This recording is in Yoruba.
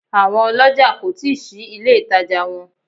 Àwọn olójà kò tí ì ṣí ilé ìtajà wọn